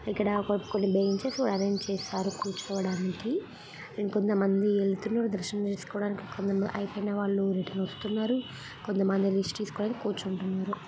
ఇక్కడ కొన్ని benches arrange చేశారు కూర్చోడానికి ఇంకొంతమంది వెళ్తున్నారు దర్శనం చేసుకోడానికి అయిపోయిన వాళ్ళు రిటర్న్ వస్తున్నారు. కొంత మంది రెస్ట్ తెసుకోడానికి కూర్చుంటూన్నరు.